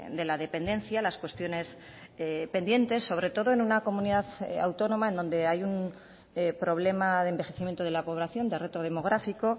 de la dependencia las cuestiones pendientes sobre todo en una comunidad autónoma donde hay un problema de envejecimiento de la población de reto demográfico